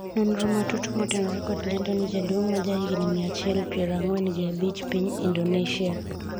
nonro matut motenonre kod lendo ni jaduong' ma ja higni mia achiel ,piero ang'wen gi abich Piny Indonesia